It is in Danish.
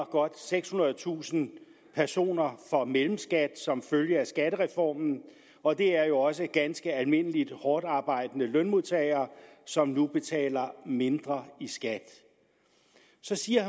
godt sekshundredetusind personer for mellemskat som følge af skattereformen og det er jo også ganske almindelige hårdtarbejdende lønmodtagere som nu betaler mindre i skat så siger